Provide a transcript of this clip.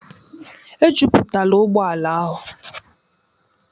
Ejupụtala ụgbọ ala ahụ.